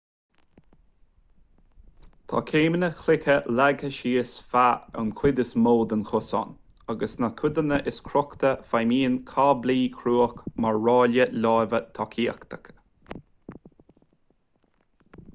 tá céimeanna cloiche leagtha síos feadh an chuid is mó den chosán agus sna codanna is crochta feidhmíonn cáblaí cruach mar ráille láimhe tacaíochta